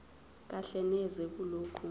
kahle neze kulokho